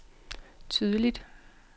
tydeligt